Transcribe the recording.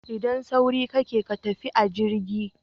Idan sauri kake ka tafi a jirgi